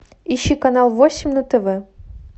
ищи канал восемь на тв